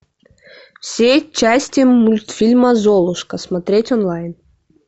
все части мультфильма золушка смотреть онлайн